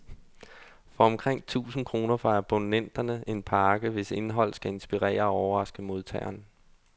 For omkring tusind kroner får abonnenterne en pakke, hvis indhold skal inspirere og overraske modtageren.